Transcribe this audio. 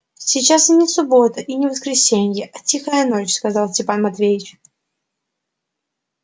сейчас и не суббота и не воскресенье а тихая ночь сказал степан матвеевич